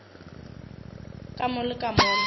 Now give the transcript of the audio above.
ka mo le ka mola